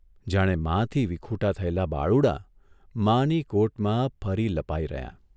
જાણે માંથી વિખૂટા થયેલાં બાળુડાં માની કોટમાં ફરી લપાઇ રહ્યા !